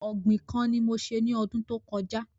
Ògbìn kan ni mo se ní ọdún tó kọjá